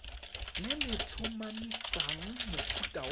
le le tlhomamisang mofuta wa